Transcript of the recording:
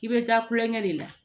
I bɛ taa kulonkɛ de la